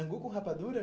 Angu com rapadura?